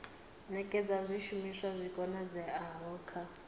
nekedza zwishumiswa zwi oeaho kha